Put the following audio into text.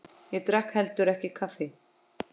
Ég drakk heldur ekki kaffi.